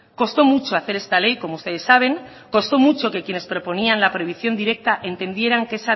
costó mucho hacer esta ley como ustedes saben costó mucho que quienes proponían la prohibición directa entendieran que